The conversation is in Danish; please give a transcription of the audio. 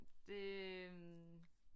Det øh